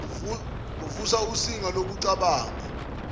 uvusa usinga lokucabanga